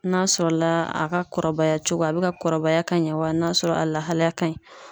N'a sɔrɔla a ka kɔrɔbaya cogo a bɛ ka kɔrɔbaya ka ɲɛ wa n'a sɔrɔ a lahalaya ka ɲi.